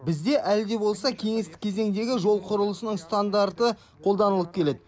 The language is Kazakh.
бізде әлі де болса кеңестік кезеңдегі жол құрылысының стандарты қолданылып келеді